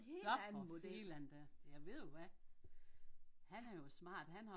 Så for filan da ja ved du hvad han er jo smart han har